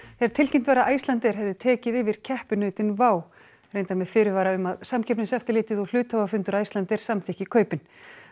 þegar tilkynnt var að Icelandair hefði tekið yfir keppinautinn reyndar með fyrirvara um að Samkeppniseftirlitið og hluthafafundur Icelandair samþykki kaupin